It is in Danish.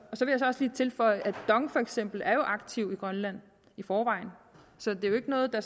også lige tilføje at for eksempel dong er jo aktive i grønland i forvejen så det er jo ikke noget der